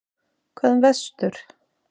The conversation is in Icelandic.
Hvað um vestur?